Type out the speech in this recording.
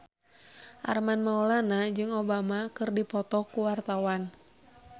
Armand Maulana jeung Obama keur dipoto ku wartawan